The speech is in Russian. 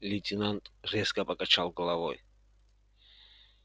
лейтенант резко покачал головой